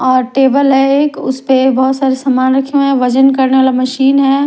और टेबल है एक उसपे बहोत सारे सामान रखें हुए वजन करने वाला मशीन है।